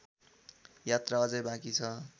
यात्रा अझै बाँकी छ